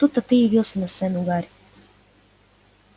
тут-то ты и явился на сцену гарри